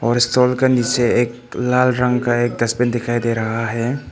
और इस स्तोल का नीचे एक लाल रंग का एक डस्टबिन दिखाई दे रहा है।